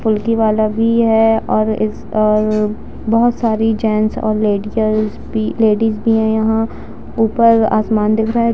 फुल्की वाला भी है अ और बहोत सारी जेंट्स लेडीकल्स भी हैं यहाँ ऊपर आसमान दिख रहा है --